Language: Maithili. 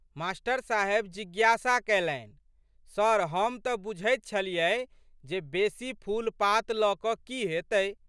मा.साहेब जिज्ञासा कयलनि। सर हम तऽ बुझैत छलियै जे बेशी फूलपात लऽ कऽ की हैतै।